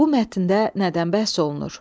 Bu mətndə nədən bəhs olunur?